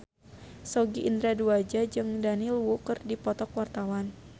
Sogi Indra Duaja jeung Daniel Wu keur dipoto ku wartawan